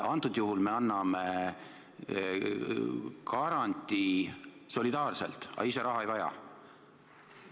Antud juhul me anname garantii solidaarselt, aga ise raha ei vaja.